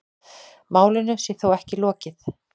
Málinu sé þó ekki lokið.